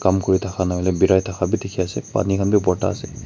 umm kuri thaka na hoile berai thaka bhi dikhi ase pani khan bhi bhorta ase.